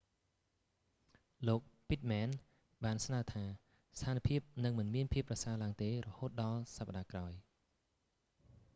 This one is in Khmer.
លោក pittman ពីតមែន បានស្នើថា ស្ថានភាពនឹងមិនមានភាពប្រសើរឡើងទេ រហូតដល់សប្តាហ៍ក្រោយ